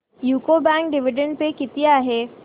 UCO bank dividend pay किती आहे